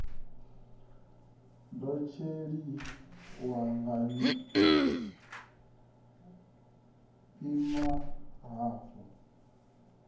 ḓo tshaisiwa wo ima hafho